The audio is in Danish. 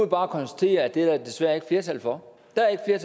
bare konstatere at det er der desværre ikke flertal for der er